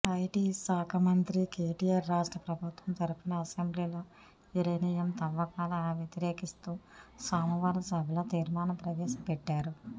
IT శాఖ మంత్రి కెటిఆర్ రాష్ట్ర ప్రభుత్వం తరఫున అసెంబ్లీలో యురేనియం తవ్వకాల వ్యతిరేకిస్తూ సోమవారం సభలో తీర్మానం ప్రవేశపెట్టారు